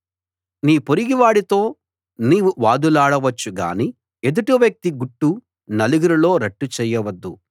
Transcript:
నీ పొరుగువాడితో నీవు వాదులాడ వచ్చు గానీ ఎదుటి వ్యక్తి గుట్టు నలుగురిలో రట్టు చెయ్యవద్దు